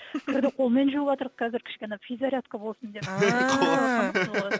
кірді қолмен жуыватырқ қазір кішкене физзарядка болсын деп ііі